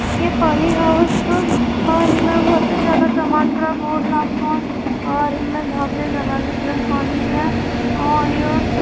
ये poly house छो और इमें बहोत ही ज्यादा टमाटर और भोत --